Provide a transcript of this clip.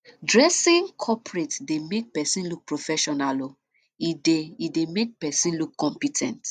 dressing coperate dey make person look professional um e dey e dey make person look compe ten t